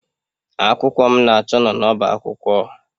Akwụkwọ m na-achọ n'ọbá akwụkwọ.